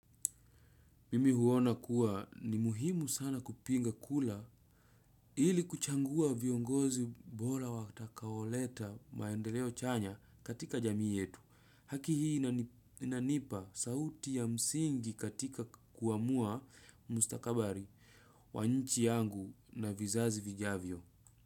Mimi huona kuwa ni muhimu sana kupiga kura ili kuchagua viongozi bora watakaoleta maendeleo chanya katika jamii yetu. Haki hii inanipa sauti ya msingi katika kuamua mustakabari wanchi yangu na vizazi vijavyo.